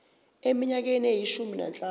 eminyakeni eyishumi nanhlanu